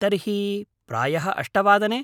तर्हि, प्रायः अष्टवादने?